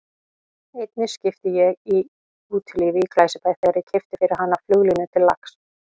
Einni skipti ég í Útilífi í Glæsibæ þegar ég keypti fyrir hana flugulínu til lax